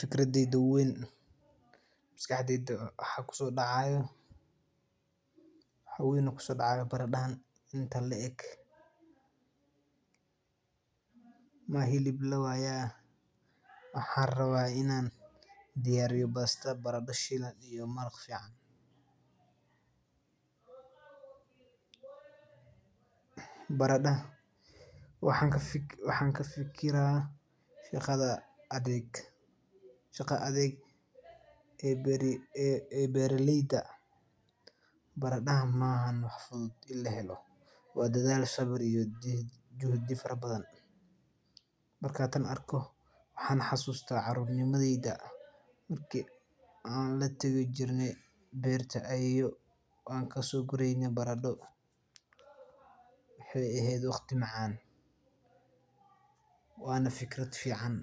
Fikradeyda maskaxdeyda waxaa kuso dacaaya baradaha intan la eg waxan rabaa inaan diyariyo barada basal iyo maraq fican waxaan ka fikira shaqada adag ee beeraleyda wa dadaal iyo juhdi badan waxaan xasusta caruurnimada marki aan soo guraye waa arin fican